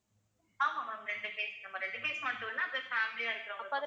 ஆமா ma'am ரெண்டு face நம்ம ரெண்டு பேருக்கு மட்டும் இல்ல அப்புறம் family ஆ இருக்கிறவங்க